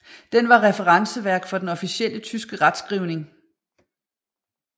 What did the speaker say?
Den var referenceværk for den officielle tyske retskrivning